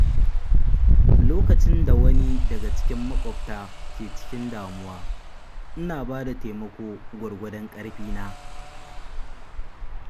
Lokacin da wani daga cikin maƙwabta ke cikin damuwa, ina bada taimako gwargwadon ƙarfina.